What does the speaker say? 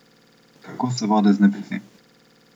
Kako se vode znebiti?